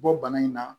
Bɔ bana in na